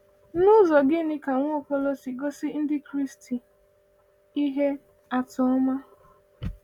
N’ụzọ gịnị ka Nwaokolo si gosi Ndị Kraịst ihe atụ ọma?